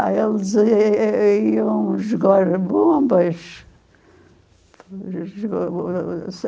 Ah, eles e iam jogar bombas.